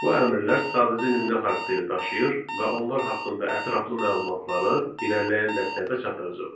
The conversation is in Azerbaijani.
Bu əmrlər sadəcə nümunə xarakteri daşıyır və onlar haqqında ətraflı məlumatları irəliləyən dəstələrdə çatdıracam.